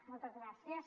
moltes gràcies